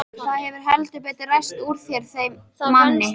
Það hefur heldur betur ræst úr þeim manni!